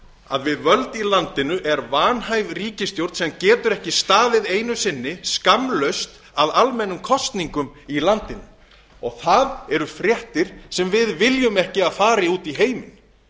að við völd landinu er vanhæf ríkisstjórn sem getur ekki staðið einu sinni skammlaust að almennum kosningum í landinu og það eru fréttir sem við viljum ekki að fari út í heiminn